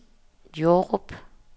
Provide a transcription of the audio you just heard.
Jordrup